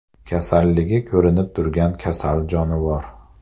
Kasalligi ko‘rinib turgan kasal jonivor.